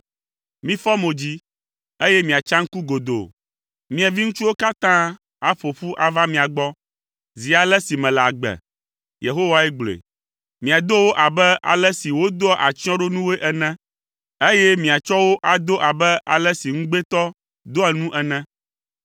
Mifɔ mo dzi, eye miatsa ŋku godoo. Mia viŋutsuwo katã aƒo ƒu ava mia gbɔ, zi ale si mele agbe.” Yehowae gblɔe. “Miado wo abe ale si wodoa atsyɔ̃ɖonuwoe ene, eye miatsɔ wo ado abe ale si ŋugbetɔ doa nu ene.